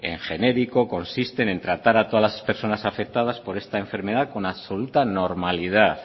en genérico consiste en tratar a todas las personas afectadas por esta enfermedad con absoluta normalidad